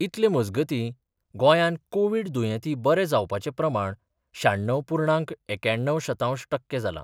इतले मजगती गोंयान कोविड दुयेंती बरे जावपाचे प्रमाण श्याण्णव पूर्णांक एक्याण्णव शतांश टक्के जाला.